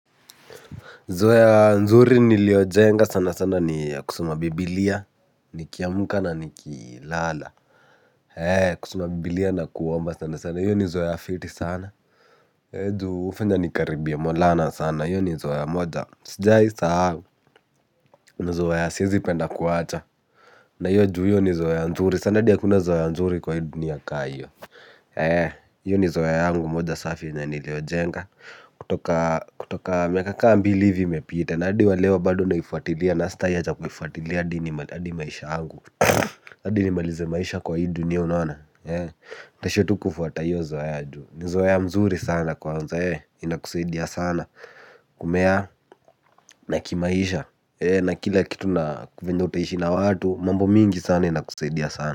Zoea nzuri niliyojenga sana sana ni ya kusoma bibilia. Nikiamka na nikilala eeh kusoma bibilia na kuomba sana sana hiyo ni zoea fiti sana ju hufanya nikaribie maulana sana hiyo ni zoea moja sijawahi sahau ni zoea siezi penda kuacha. Na hio ju hiyo ni zoea nzuri sana hadi akuna zoea nzuri kwa hii dunia kama hiyo. Eee, hiyu ni zoea yangu moja safi ya niliyo jenga. Kutoka, kutoka, miaka kama mbili hivi imepita. Na hadi wa leo bado naifuatilia. Na sitawahi acha kuifuatilia adi ni maisha yangu. Adi nimalize maisha kwa hii dunia unaona. Eee, ntaishi tu kufuata hiyo zoea ju ni zoea mzuri sana kwanza ee. Inakusaidia sana. Kumea na kimaisha. Eee, na kila kitu na venye utaishi na watu. Mambo mingi sana ina kusaidia sana.